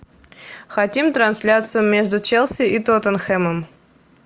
хотим трансляцию между челси и тоттенхэмом